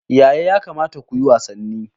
Yaya ya kamata ku yi wasanni?